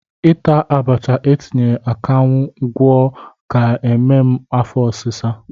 Ịta abacha etinyere akaṅwụ gwọ ga-eme m afọ ọsịsa.